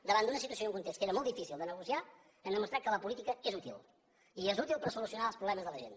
davant d’una situació i un context que era molt difícil de negociar hem demostrat que la política és útil i és útil per solucionar els problemes de la gent